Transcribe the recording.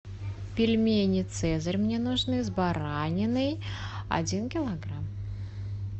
пельмени цезарь мне нужны с бараниной один килограмм